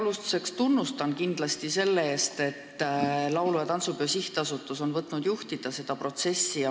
Alustuseks avaldan tunnustust selle eest, et laulu- ja tantsupeo sihtasutus on võtnud juhtida seda protsessi.